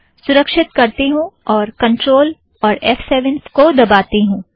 सुरक्षित करती हूँ और कंट्रोल और एफ़ सेवन को दबाती हूँ